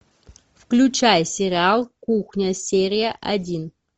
включай сериал кухня серия один